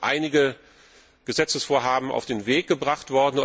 Es werden ja noch einige Gesetzesvorhaben auf den Weg gebracht.